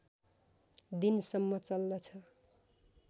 दिनसम्म चल्दछ